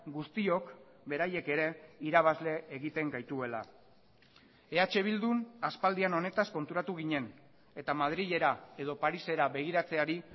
guztiok beraiek ere irabazle egiten gaituela eh bildun aspaldian honetaz konturatu ginen eta madrilera edo parisera begiratzeari